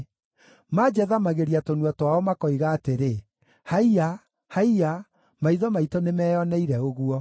Manjathamagĩria tũnua twao makoiga atĩrĩ, “Haiya! Haiya! Maitho maitũ nĩmeyoneire ũguo.”